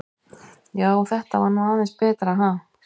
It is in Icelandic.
Já, þetta var nú aðeins betra, ha!